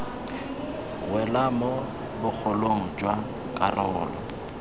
wela mo bogolong jwa karolo